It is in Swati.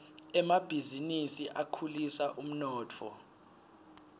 emabhizinisi akhulisa umnotfo